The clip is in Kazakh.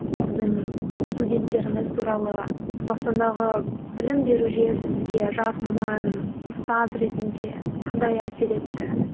сіздің студенттеріңіз туралы қазақстандағы білім беру жүйесі сізге жас маман ұстаз ретінде қандай әсер етті